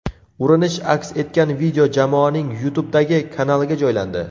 Urinish aks etgan video jamoaning YouTube’dagi kanaliga joylandi .